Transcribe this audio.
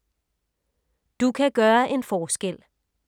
Du kan gøre en forskel